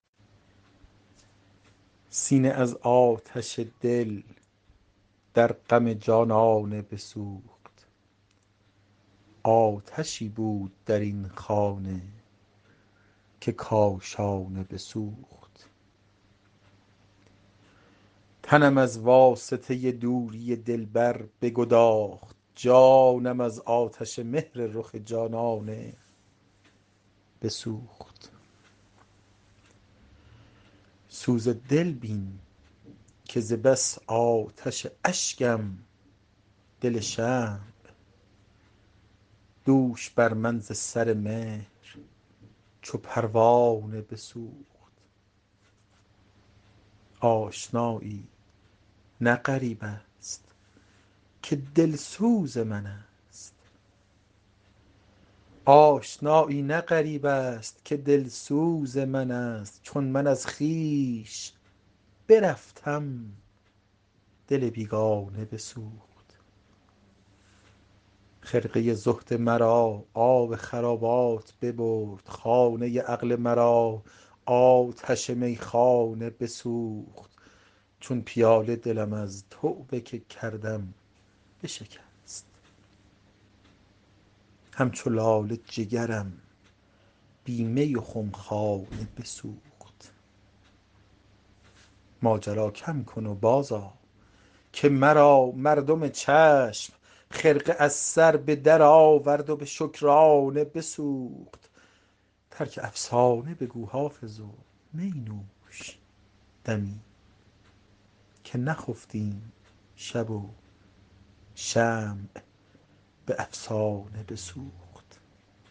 سینه از آتش دل در غم جانانه بسوخت آتشی بود در این خانه که کاشانه بسوخت تنم از واسطه دوری دلبر بگداخت جانم از آتش مهر رخ جانانه بسوخت سوز دل بین که ز بس آتش اشکم دل شمع دوش بر من ز سر مهر چو پروانه بسوخت آشنایی نه غریب است که دلسوز من است چون من از خویش برفتم دل بیگانه بسوخت خرقه زهد مرا آب خرابات ببرد خانه عقل مرا آتش میخانه بسوخت چون پیاله دلم از توبه که کردم بشکست همچو لاله جگرم بی می و خمخانه بسوخت ماجرا کم کن و بازآ که مرا مردم چشم خرقه از سر به درآورد و به شکرانه بسوخت ترک افسانه بگو حافظ و می نوش دمی که نخفتیم شب و شمع به افسانه بسوخت